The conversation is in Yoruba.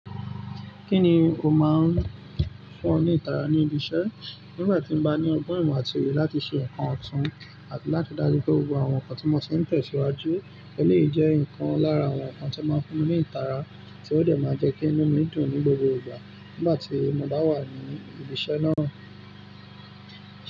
Kíni ó máa ń fún ọ ní ìtara ní ibi iṣẹ́? Nígbà tí mo bá ní ọgbọ́n ìmọ̀ àti oye láti ṣe nǹkan ọ̀tún, àti láti dáju pé gbogbo àwọn nǹkan tí mo se tẹ̀síwájú, eléyii jẹ́ nǹkan lára àwọn nǹkan tí ó máa ń fún mi ní ìtara tí ó de maa jẹ́ kí inú mi dùn ní gbogbo ìgbà nígbà tí mo bá wà ní ibi iṣẹ́ náà.